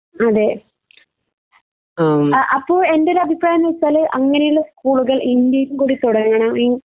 അതെ ആ അപ്പൊ എന്റൊരു അഭിപ്രായം ന്ന് വെച്ചാൽ അങ്ങനെള്ള സ്കൂളുകൾ ഇന്ത്യയിൽ കൂടി തൊടങ്ങണം ഈ